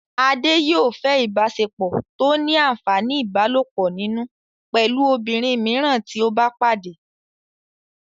Adé yòó fẹ́ ìbáṣepọ̀ tó ní àǹfàní ìbálòpọ̀ nínú pẹ̀lú obìnrin mìíràn tí ó bá pàdé